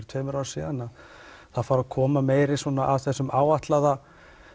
tveimur árum síðan þá fara að koma meira af þessum áætlaða